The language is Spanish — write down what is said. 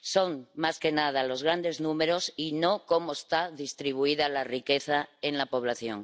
son más que nada los grandes números y no cómo está distribuida la riqueza entre la población.